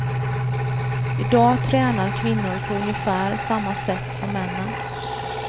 I dag tränar kvinnor på ungefär samma sätt som männen.